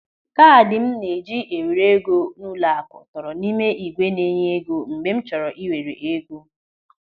Kaadị m na-eji ewere ego n'ụlọaku tọrọ n'ime ígwè na-enye ego mgbe m chọrọ ị were ego.